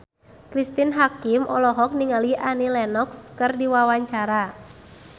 Cristine Hakim olohok ningali Annie Lenox keur diwawancara